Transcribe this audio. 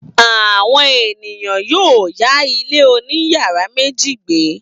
Àwọn ènìyàn yóò yá ilé oníyàrá méjì gbé.